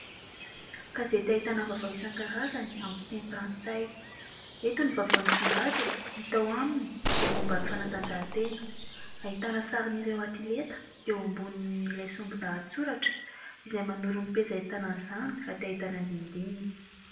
Gazety ahitana vaovao isan-karazany amin'ny fiteny frantsay. Eto ny vaovao nisongadina hita ao aminy dia momban'ny fanatanjahan-tena. Ahitana ny sarin'ireo atleta eo ambonin'ilay sombin-dahatsoratra izay manoro ny pejy ahitana an'izany raha tia ahita ny andinindininy.